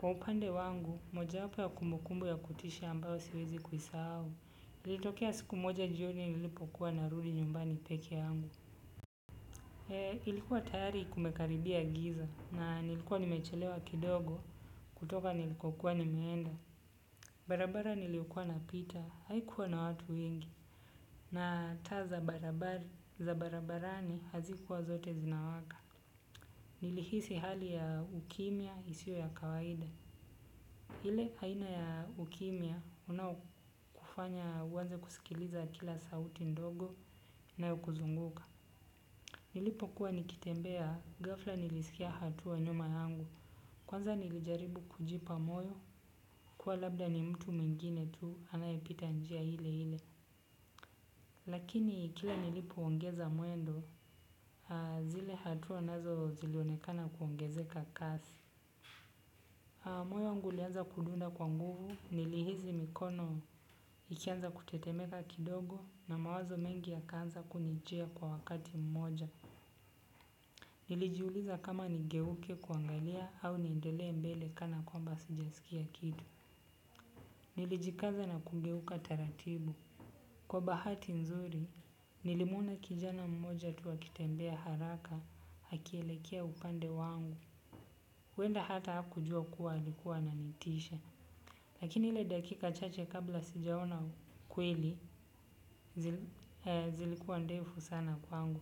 Kwa upande wangu, moja apo ya kumukumbu ya kutishi ambao siwezi kuisa au. Ilitokea siku moja jioni nilipokuwa narudi nyumbani peke yangu. E, ilikuwa tayari kumekaribia giza na nilikuwa nimechelewa kidogo. Kutoka nilikokuwa nimeenda barabara nilikuwa na pita, haikuwa na watu wengi. Na ta za barabari, za barabarani, hazikuwa zote zinawaka. Nilihisi hali ya ukimia isio ya kawaida. Hile haina ya ukimia unawakufanya uwanze kusikiliza kila sauti ndogo inaokuzunguka. Nilipo kuwa nikitembea, gafla nilisikia hatuwa nyuma yangu. Kwanza nilijaribu kujipa moyo, kuwa labda ni mtu mengine tu, anayepita njia hile hile. Lakini kila nilipo ongeza muendo, zile hatua nazo zilionekana kuongezeka kasi. Moyo wangu ulianza kudunda kwa nguvu, nilihizi mikono ikianza kutetemeka kidogo na mawazo mengi yakaanza kunijia kwa wakati mmoja. Nilijiuliza kama nigeuke kuangalia au niendele mbele kana kwamba sijasikia kidu. Nilijikaza na kungeuka taratibu. Kwa bahati nzuri, nilimuona kijana mmoja tu akitembea haraka hakielekea upande wangu. Wenda hata haku jua kuwa alikuwa ananitisha. Lakini hile dakika chache kabla sijaona kweli zilikuwa ndefu sana kwangu.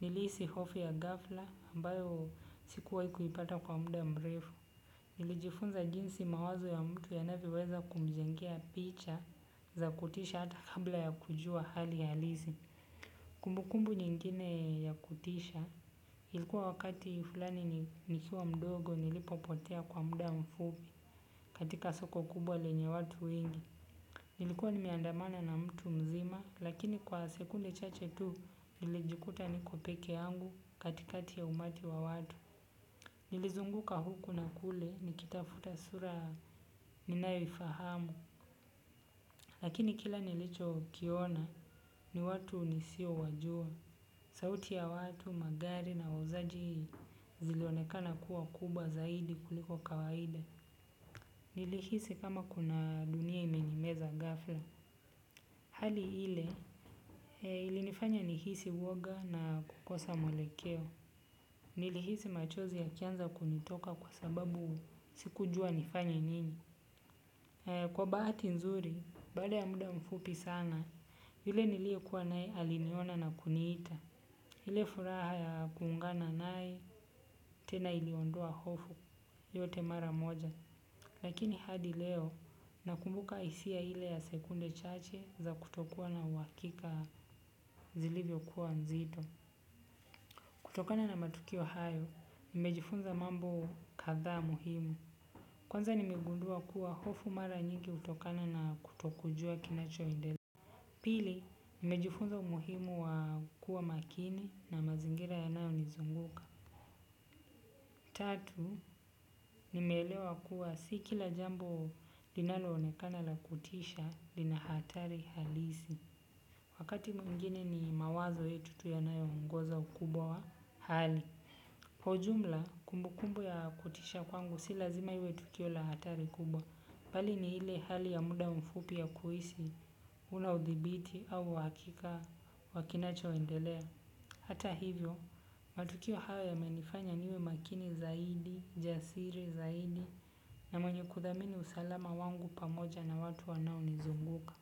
Nilisi hofi ya gafla ambayo sikuwa ikuipata kwa muda mrefu. Nilijifunza jinsi mawazo ya mtu yanavio weza kumjengia picha za kutisha hata kabla ya kujua hali ya lisi. Kumbukumbu nyingine ya kutisha ilikuwa wakati fulani nikiwa mdogo nilipopotea kwa muda mfupi katika soko kubwa lenye watu wengi. Nilikuwa ni meandamana na mtu mzima lakini kwa sekunde chache tu nilijikuta ni ko peke yangu katikati ya umati wa watu. Nilizunguka huku na kule nikitafuta sura ninayoifahamu lakini kila nilicho kiona ni watu nisio wajua. Sauti ya watu, magari na wauzaji zilionekana kuwa kubwa zaidi kuliko kawaida. Nilihisi kama kuna dunia imenimeza gafla. Hali ile ilinifanya nihisi woga na kukosa mwelekeo. Nilihisi machozi ya kianza kunitoka kwa sababu siku jua nifanya nini. Kwa baati nzuri, bada ya muda mfupi sana, yule nilikuwa nae aliniona na kuniita. Hile furaha ya kuungana nae, tena iliondua hofu, yote mara moja. Lakini hadi leo, nakumbuka isia hile ya sekunde chache za kutokua na uwakika zilivyo kuwa nzito. Kutokana na matukio hayo, nimejifunza mambo katha muhimu. Kwanza nimegundua kuwa hofu mara njiki utokana na kutokujua kinacho endele. Pili, nimejifunza muhimu wa kuwa makini na mazingira ya nao nizunguka. Tatu, nimeelewa kuwa sikila jambo linalo onekana la kutisha lina hatari halisi. Wakati mwingine ni mawazo yetu tu yanayoongeza ukubwa wa hali kwa ujumla, kumbu kumbu ya kutisha kwangu si lazima hiwe tukio la hatari kubwa. Pali ni hile hali ya muda mfupi ya kuhisi, ula udhibiti au wakika wakinacho wendelea. Hata hivyo, matukio hawa ya menifanya niwe makini zaidi, jasiri zaidi na mwenye kuthamini usalama wangu pamoja na watu wanao nizunguka.